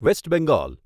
waste Bengal